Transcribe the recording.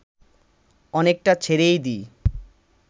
অনেকটা ছেড়েই দিই